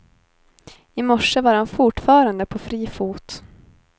I morse var han fortfarande på fri fot.